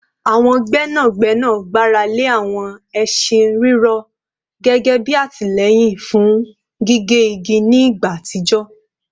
Àwọn gbẹ́nàgbẹ́nà gbára lé àwọn ẹṣin rírọ̀ gẹ́gẹ́ bí àtìlẹ́yìn fún gbígé igi ní ìgbà àtijọ́